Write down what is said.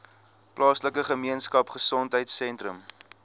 plaaslike gemeenskapgesondheid sentrum